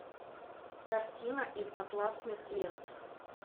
картина из атласных лент